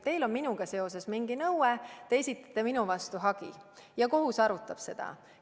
Teil on minuga seoses mingi nõue, te esitate minu vastu hagi ja kohus arutab seda.